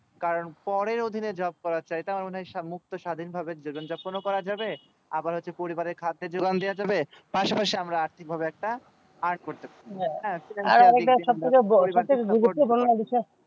কারন পরে অধিনে job করা চাইতে আমার মনে হয় সম্মুক্ত স্বাধীন ভাবে জীবন যাপন ও করা যাবে আবার হচ্ছে পরিবারের খাদ্য যোগান দেওয়া যাবে পাশাপাশি ভাবে আর্থিক ভাই একটা এই করতে পারবো